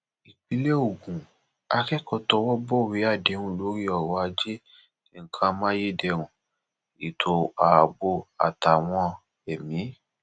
ìpínlẹ ogun àtẹkò tọwọ bọwé àdéhùn lórí ọrọajé nǹkan amáyédẹrùn ètò ààbò àtàwọn mi